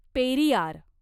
Periyar